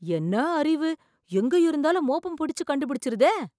என்ன அறிவு, எங்க இருந்தாலும் மோப்பம் பிடிச்சு கண்டுபிடிச்சிருதே!